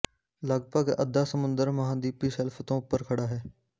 ਲਗਭਗ ਅੱਧਾ ਸਮੁੰਦਰ ਮਹਾਂਦੀਪੀ ਸ਼ੈਲਫ ਤੋਂ ਉਪਰ ਖੜ੍ਹਾ ਹੈ